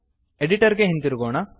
editor ಗೆ ಹಿಂದಿರುಗೋಣ